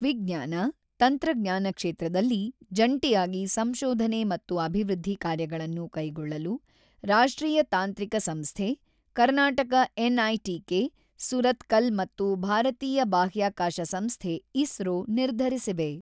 ವಿಜ್ಞಾನ, ತಂತ್ರಜ್ಞಾನ ಕ್ಷೇತ್ರದಲ್ಲಿ ಜಂಟಿಯಾಗಿ ಸಂಶೋಧನೆ ಮತ್ತು ಅಭಿವೃದ್ಧಿ ಕಾರ್ಯಗಳನ್ನು ಕೈಗೊಳ್ಳಲು, ರಾಷ್ಟ್ರೀಯ ತಾಂತ್ರಿಕ ಸಂಸ್ಥೆ, ಕರ್ನಾಟಕ-ಎನ್‌ಐಟಿಕೆ, ಸುರತ್ಕಲ್ ಮತ್ತು ಭಾರತೀಯ ಬಾಹ್ಯಾಕಾಶ ಸಂಸ್ಥೆ-ಇಸ್ರೋ ನಿರ್ಧರಿಸಿವೆ.